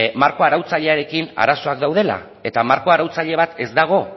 marko arautzailearekin arazoak daudela eta marko arautzaile bat ez dago